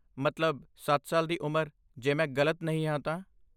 ਮਤਲਬ, ਸੱਤ ਸਾਲ ਦੀ ਉਮਰ, ਜੇ ਮੈਂ ਗਲਤ ਨਹੀਂ ਹਾਂ ਤਾਂ